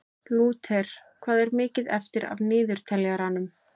Lúter, hvað er mikið eftir af niðurteljaranum?